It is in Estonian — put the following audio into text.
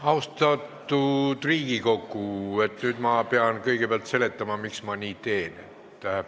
Austatud Riigikogu, nüüd ma pean kõigepealt seletama, miks ma nii teen.